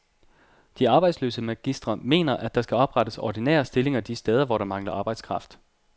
De arbejdsløse magistre mener, at der skal oprettes ordinære stillinger de steder, hvor der mangler arbejdskraft.